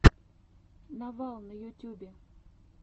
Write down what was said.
новал на ютьюбе